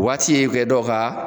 O waati ye kɛ dɔw ka